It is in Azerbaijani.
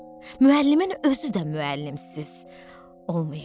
Müəllimin özü də müəllimsiz olmayıb.